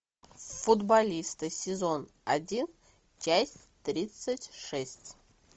футболисты сезон один часть тридцать шесть